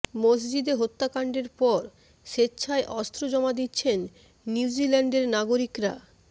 মসজিদে হত্যাকাণ্ডের পর স্বেচ্ছায় অস্ত্র জমা দিচ্ছেন নিউজিল্যান্ডের নাগরিকরা